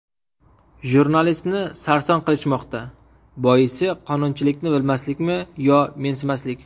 Jurnalistni sarson qilishmoqda: Boisi qonunchilikni bilmaslikmi yo mensimaslik?.